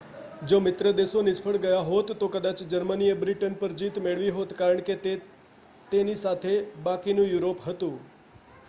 જો મિત્રદેશો નિષ્ફળ ગયા હોત તો કદાચ જર્મનીએ બ્રિટન પર જીત મેળવી હોત કારણ કે તેની સાથે બાકીનું યુરોપ હતું